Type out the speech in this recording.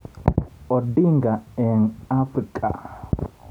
Odinga eng Afrika.